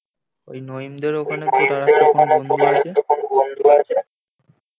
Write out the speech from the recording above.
ওই নইমদের ওখানে তোর একটা কোন বন্ধু আছে?